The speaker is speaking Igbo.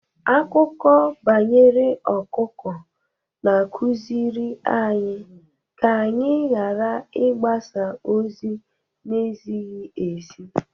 Akụkọ banyere ọkụkọ na-akụziri anyị ka anyị ghara ịgbasa ozi na-ezighi ezi.